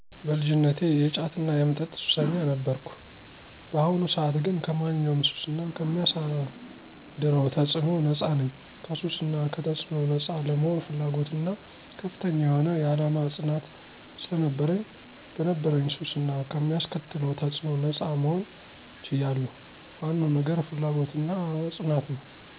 በልጅነቴ የጫትና የመጠጥ ሱሰኛ ነበርኩ። በአሁኑ ሰዓት ግን ከማንኛውም ሱስ እና ከሚያሳደረው ተፅዕኖ ነጻ ነኝ። ከሱስ እና ከተጽዕኖው ነጻ ለመሆን ፍላጎትና ከፍተኛ የሆነ የዓላማ ፅናት ስለነበረኝ ከነበረብኝ ሱስ እና ከሚያስከትለው ተፅዕኖ ነጻ መሆን ችያለው። ዋነው ነገር ፍላጎትና ፅናት ነው።